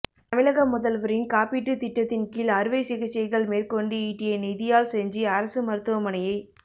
தமிழக முதல்வரின் காப்பீட்டுத் திட்டத்தின் கீழ் அறுவைச் சிகிச்சைகள் மேற்கொண்டு ஈட்டிய நிதியால் செஞ்சி அரசு மருத்துவமனையை